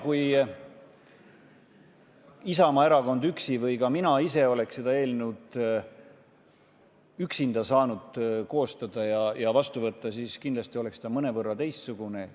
Kui Isamaa erakond üksi või ka mina ise oleks seda eelnõu üksinda saanud koostada, siis kindlasti oleks ta mõnevõrra teistsugune.